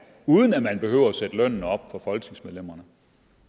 uden at man behøver at sætte lønnen op for folketingsmedlemmerne